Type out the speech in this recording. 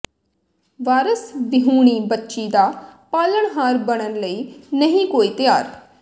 ਵਾਰਸ ਵਿਹੂਣੀ ਬੱਚੀ ਦਾ ਪਾਲਣਹਾਰ ਬਣਨ ਲਈ ਨਹੀਂ ਕੋਈ ਤਿਆਰ